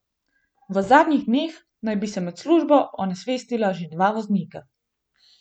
V zadnjih dneh naj bi se med službo onesvestila že dva voznika.